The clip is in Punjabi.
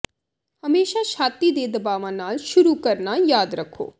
ਹਮੇਸ਼ਾ ਛਾਤੀ ਦੇ ਦਬਾਵਾਂ ਨਾਲ ਸ਼ੁਰੂ ਕਰਨਾ ਯਾਦ ਰੱਖੋ